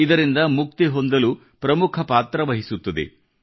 ಇದರಿಂದ ಮುಕ್ತಿ ಹೊಂದಲು ಪ್ರಮುಖ ಪಾತ್ರ ವಹಿಸುತ್ತದೆ